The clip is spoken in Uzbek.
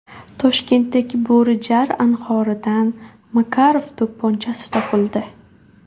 Toshkentdagi Bo‘rijar anhoridan Makarov to‘pponchasi topildi.